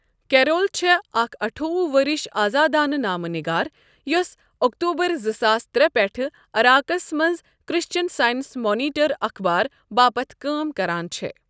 Carol چھےٚ اکھ اَٹھووُہ ؤرِش آزادانہٕ نامہٕ نِگار یوسہٕ اکتوبر زٕ ساس ترٛے پٮ۪ٹھٕ عراقَس منٛز کرسچن سائنس مانیٹر اخبار باپتھ کٲم کران چھےٚ۔